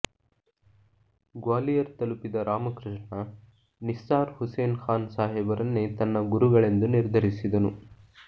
ಗ್ವಾಲಿಯರ್ ತಲಪಿದ ರಾಮಕೃಷ್ಣ ನಿಸ್ಸಾರ್ ಹುಸೇನ್ ಖಾನ್ ಸಾಹೇಬರನ್ನೇ ತನ್ನ ಗುರುಗಳೆಂದು ನಿರ್ಧರಿಸಿದನು